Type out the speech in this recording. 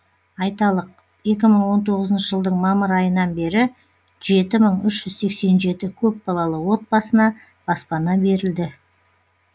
айталық екі мың он тоғызыншы жылдың мамыр айынан бері жеті мың үш жүз сексен жеті көпбалалы отбасына баспана берілді